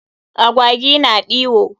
Agwawi na ɗiwo.